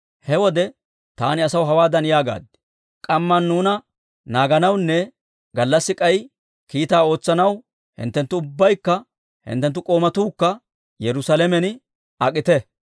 He wode taani asaw hawaadan yaagaad; «K'amman nuuna naaganawunne gallassi k'ay kiitaa ootsanaw hinttenttu ubbaykka hinttenttu k'oomatuukka Yerusaalamen ak'ite».